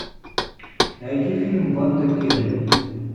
найти фильм банда келли